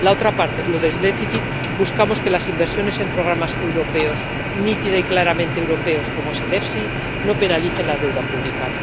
La otra parte, los del déficit, buscamos que las inversiones en programas europeos, nítida y claramente europeos, como el FEIE, no penalicen la deuda pública.